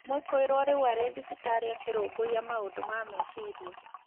Mwikuirwo rĩu arĩ thibitarĩ akĩrũmbũiya maũndũ ma meciria.